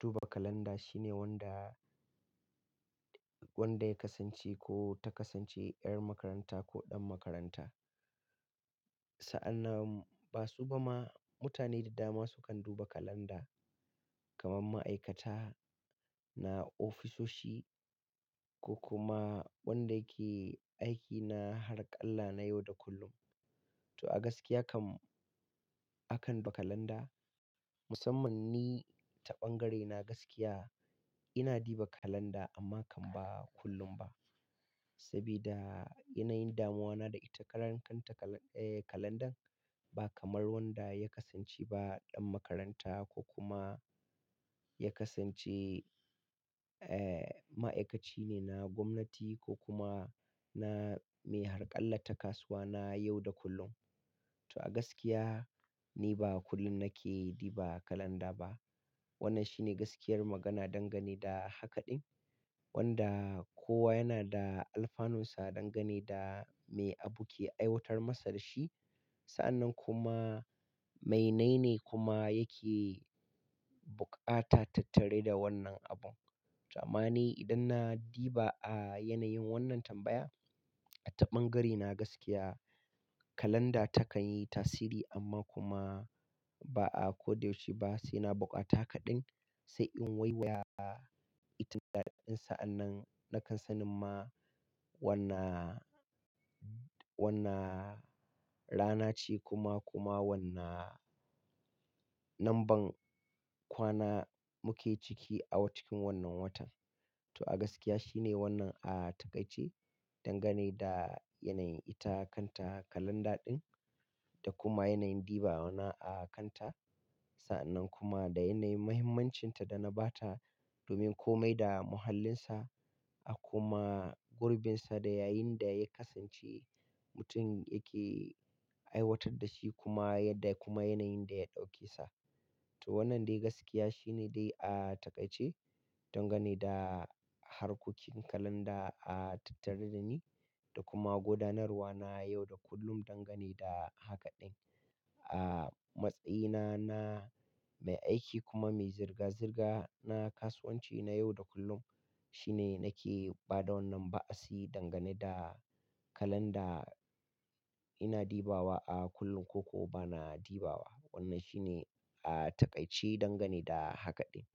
duba kalanda shine wanda, wanda ya kasance ko ta kasance ƴar makaranta ko ɗan makaranta. Sa'annan, ba su ba ma mutane da dama sukan duba kalanda. Kamar ma'aikata na ofisoshi ko kuma wanda yake aiki na harƙalla na yau da kullum. To a gaskiya kam, akan ba kalanda. Musamman ni ta ɓangarena gaskiya, ina diba kalanda amma kam ba kullum ba. Sabida yana yin damuwana da ita ƙarankanta kala-- eh kalandan ba kamar wanda ya kasance ba ɗan makaranta, ko kuma ya kasance eh ma'aikaci ne na gwamnati, ko kuma na mai harƙalla ta kasuwa na yau da kullum. To a gaskiya, ni ba kullum nake diba kalanda ba. Wannan shine gaskiyar magana dangane da haka ɗin, wanda kowa yana da alfanunsa dangane da me abu ke aiwatar masa da shi, Sa'annan kuma, me nai ne kuma yake buƙata tattare da wannan abun. To amma ni idan na diba yanayin wannan tambaya, a ta ɓangarena gaskiya, kalanda takanyi tasiri amma kuma ba'a koda yaushe ba, saina buƙata haka ɗin, sai in waiwaya ita daɗin sa'an nan, nakan sanin ma wanna, wanna rana ce kuma kuma wanna namban kwana muke ciki awa-cikin wannan watan. To a gaskiya shine wannan a taƙaice, dangane da yanayin ita kanta kalanda ɗin da kuma yanayin dibawa na a kan ta. Sa'annan kuma, da yanayin mahimmancinta da na ba ta, domin komai da muhallinsa, a kuma gurbinsa da yayinda ya kasance, mutum yake aiwatar da shi kuma yadda kuma yanayin da ya ɗauke sa. To wannan dai gaskiya shine dai a taƙaice, dangane da harkokin kalanda a tattare da ni, da kuma gudanarwa na yau da kullum dangane da haka ɗin. A matsayina na mai aiki kuma mai zirga-zirga na kasuwanci na yau da kullum, shine nake ba da wannan ba'a si dangane da kalanda, ina dibawa a kullum ko ko bana dibawa. Wannan shine a taƙaice dangane da haka ɗin.